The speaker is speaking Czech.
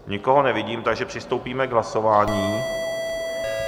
Nikoho nevidím, takže přistoupíme k hlasování.